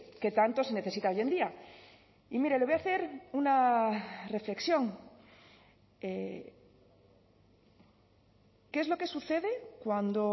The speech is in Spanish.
que tanto se necesita hoy en día y mire le voy a hacer una reflexión qué es lo que sucede cuando